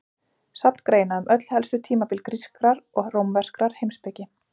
Safn greina um öll helstu tímabil grískrar og rómverskrar heimspeki.